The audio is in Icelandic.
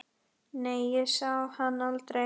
Nei, ég sá hann aldrei.